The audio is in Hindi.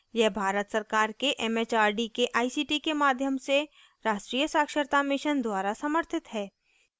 यह भारत सरकार के it it आर डी के आई सी टी के माध्यम से राष्ट्रीय साक्षरता mission द्वारा समर्थित है